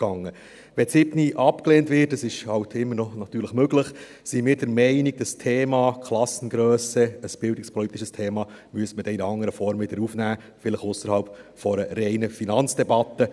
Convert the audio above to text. Wenn die Planungserklärung 7 abgelehnt wird – das ist nun einmal immer noch möglich –, sind wir der Meinung, man müsse das Thema Klassengrösse, ein bildungspolitisches Thema, in anderer Form wieder aufnehmen, vielleicht ausserhalb einer reinen Finanzdebatte.